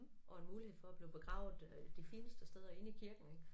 Og en mulighed for at blive begravet øh de fineste steder inde i kirken ik